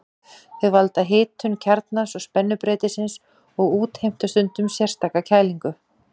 Þau valda hitun kjarnans og spennubreytisins og útheimta stundum sérstaka kælingu.